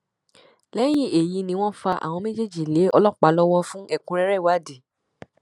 lẹyìn èyí ni wọn fa àwọn méjèèjì lé ọlọpàá lọwọ fún ẹkúnrẹrẹ ìwádìí